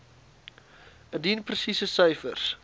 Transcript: indien presiese syfers